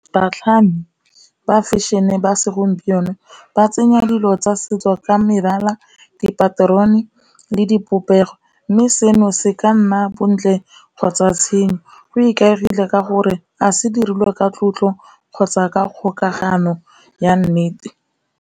Batlhami ba fashion-e ba segompieno ba tsenya dilo tsa setso ka mebala dipaterone le dipopego, mme seno se ka nna bontle kgotsa tshenyo, go ikaegile ka gore a se dirilwe ka tlotlo kgotsa ka kgokagano ya nnete.